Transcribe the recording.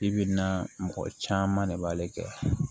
I bi na mɔgɔ caman de b'ale kɛ